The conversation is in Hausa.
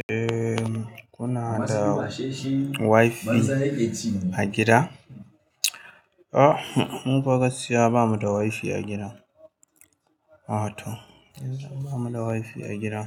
Eh, kuna da Wi-Fi a gida? Ah, mufa gaskiya ba mu da Wi-Fi a gida. A to, yanzu ba mu da Wi-Fi a gida.